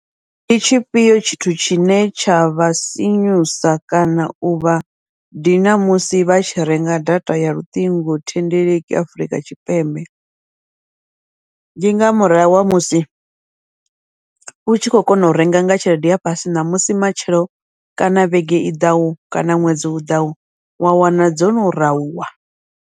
Ndi tshifhio tshithu tshine tsha vha sinyusa kana uvha dina musi vha tshi renga data ya luṱingothendeleki Afurika Tshipembe, ndi nga murahu ha musi u tshi khou kona u renga nga tshelede ya fhasi ṋamusi, matshelo kana vhege i ḓaho kana ṅwedzi u ḓaho wa wana dzono rauwa.